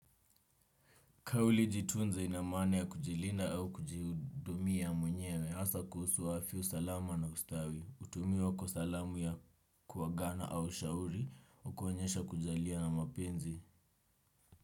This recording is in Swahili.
Kauli 'jitunze' ina maana ya kujilinda au kujihudumia mwenyewe, hasa kuhusu afya, usalama na ustawi, hutumiwa kwa salamu ya kuagana au ushauri, kuonyesha kujali na mapenzi.